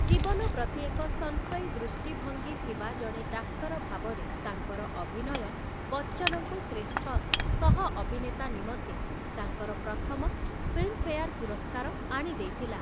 ଜୀବନ ପ୍ରତି ଏକ ସଂଶୟୀ ଦୃଷ୍ଟିଭଙ୍ଗୀ ଥିବା ଜଣେ ଡାକ୍ତର ଭାବରେ ତାଙ୍କର ଅଭିନୟ, ବଚ୍ଚନଙ୍କୁ ଶ୍ରେଷ୍ଠ ସହ ଅଭିନେତା ନିମନ୍ତେ ତାଙ୍କର ପ୍ରଥମ ଫିଲ୍ମ୍‌ଫେୟାର୍ ପୁରସ୍କାର ଆଣିଦେଇଥିଲା ।